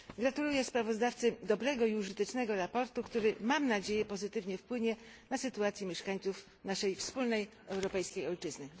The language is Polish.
Gratuluję sprawozdawcy dobrego i użytecznego sprawozdania, który mam nadzieję pozytywnie wpłynie na sytuację mieszkańców naszej wspólnej europejskiej ojczyzny.